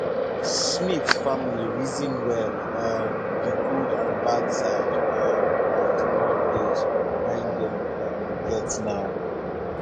smith family reason well um the good and bad side um of the mortgage wey dem um get now